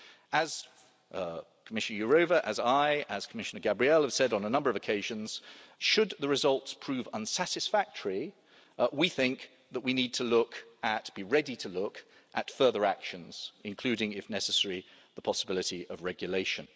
As Commissioner Jourová, as I and as Commissioner Gabriel have said on a number of occasions, should the results prove unsatisfactory we think that we need to look or be ready to look at further actions, including, if necessary, the possibility of regulation.